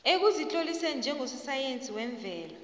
ekuzitloliseni njengososayensi wemvelo